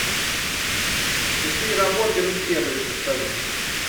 часы работы рум сервиса скажи